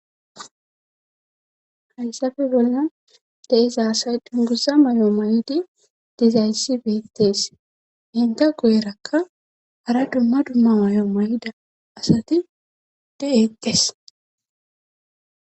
Hayssafe bolla deeza asay dungusa may'o ma'idi dizaysi beettees henta goyerakka hara dumma dumma mayo mayida asati de'etes.